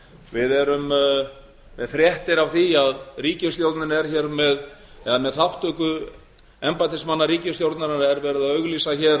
við erum með fréttir af því að ríkisstjórnin er hér með eða með þátttöku embættismanna ríkisstjórnarinnar er verið að auglýsa hér